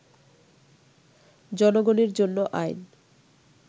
জনগণের জন্য আইন